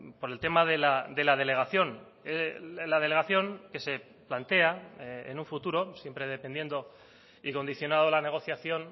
por el tema de la delegación la delegación que se plantea en un futuro siempre dependiendo y condicionado la negociación